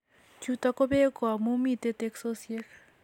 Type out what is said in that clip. Chuto kobek ko ami mitei teksosiek